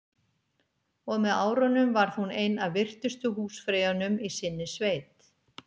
Og með árunum varð hún ein af virtustu húsfreyjunum í sinni sveit.